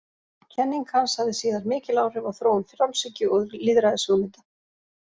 Kenning hans hafði síðar mikil áhrif á þróun frjálshyggju og lýðræðishugmynda.